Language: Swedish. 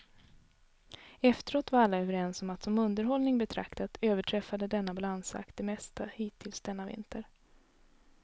Efteråt var alla överens om att som underhållning betraktat överträffade denna balansakt det mesta hittills denna vinter.